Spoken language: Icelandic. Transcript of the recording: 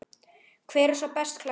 Hver er sá best klæddi?